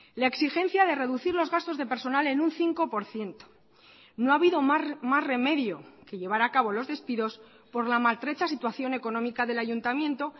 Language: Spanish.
la exigencia de reducir los gastos de personal en un cinco por ciento no ha habido más remedio que llevar a cabo los despidos por la maltrecha situación económica del ayuntamiento